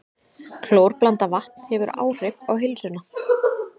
Klórblandað vatn hefur áhrif á heilsuna